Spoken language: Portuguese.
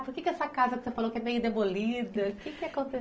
Por que essa casa que você falou que é meio demolida, o quê que aconteceu?